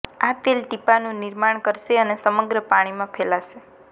આ તેલ ટીપાંનું નિર્માણ કરશે અને સમગ્ર પાણીમાં ફેલાશે